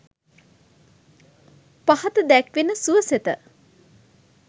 පහත දැක්වෙන සුවසෙත